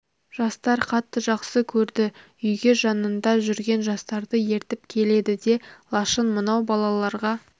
жастар қатты жақсы көрді үйге жанында жүрген жастарды ертіп келеді де лашын мынау балаларға